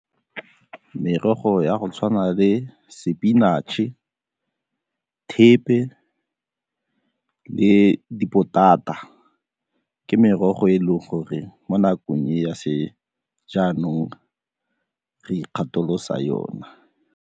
Merogo ya go tshwana le sepinatšhe, thepe le dipotata ke merogo e e leng gore mo nakong ya sejaanong re ikgatholosa yona.